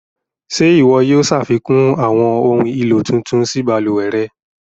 Ṣẹ iwọ yóò ṣafikun awọn ohun elo tuntun sí baluwẹ̀ rẹ̀?